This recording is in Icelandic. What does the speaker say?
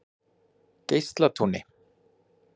Geislatúni